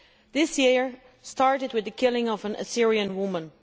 This year started with the killing of an Assyrian woman.